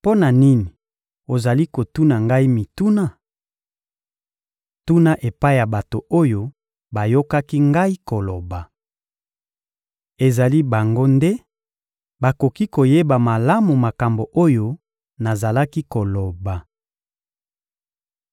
Mpo na nini ozali kotuna Ngai mituna? Tuna epai ya bato oyo bayokaki Ngai koloba. Ezali bango nde bakoki koyeba malamu makambo oyo nazalaki koloba.